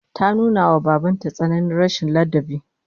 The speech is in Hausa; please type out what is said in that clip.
Ta nuna wa baban ta tsananin rashin ladabi